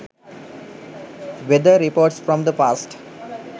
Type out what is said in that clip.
weather reports from the past